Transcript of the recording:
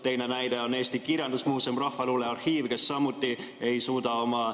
Teine näide on Eesti Kirjandusmuuseum, rahvaluulearhiiv, kes samuti ei suuda oma ...